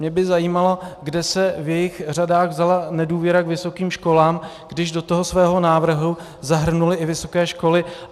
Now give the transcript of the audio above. Mě by zajímalo, kde se v jejich řadách vzala nedůvěra k vysokým školám, když do toho svého návrhu zahrnuli i vysoké školy.